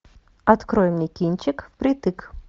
открой мне кинчик впритык